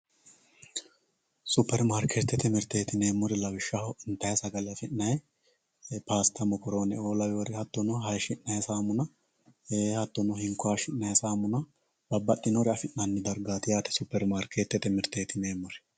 Superimarketete miritetti yinemori lawishshaho initayyi saagalle afinayi pasitta miokorone"o laworre haatonno hayishinayi samunna ee hatinno hinko hayishinayi samunna babaxinore afinanni darigati yaate superimarketete mirtetti yinemori